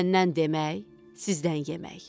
Məndən demək, sizdən yemək.